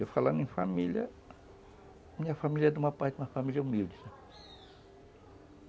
Eu falando em família, minha família é de uma parte uma família humilde, sabe?